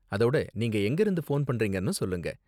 அதோட, நீங்க எங்கிருந்து போன் பண்றீங்கன்னும் சொல்லுங்க?